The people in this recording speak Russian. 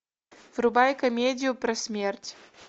врубай комедию про смерть